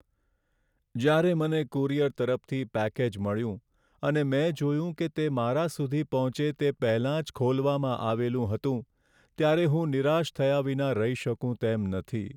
જ્યારે મને કુરિયર તરફથી પેકેજ મળ્યું અને મેં જોયું કે તે મારા સુધી પહોંચે તે પહેલાં જ ખોલવામાં આવેલું હતું ત્યારે હું નિરાશ થયા વિના રહી શકું તેમ નથી.